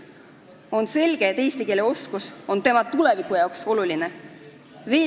On selge, et eesti keele oskus on tema tuleviku jaoks oluline.